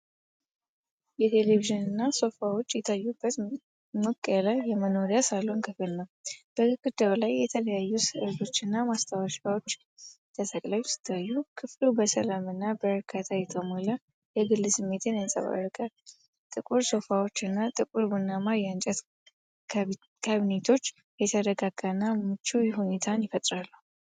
የቴሌቪዥና ሶፋዎች የታዩበት ሞቅ ያለ የመኖሪያ ሳሎን ክፍል ነው። በግድግዳው ላይ የተለያዩ ሥዕሎች እና ማስታወሻዎች ተሰቅለው ሲታዩ፤ ክፍሉ በሰላም እና በእርካታ የተሞላ የግል ስሜትን ያንጸባርቃል። ጥቁር ሶፋዎች እና ጥቁር ቡናማ የእንጨት ካቢኔቶች የተረጋጋና ምቹ ሁኔታን ይፈጥራሉ።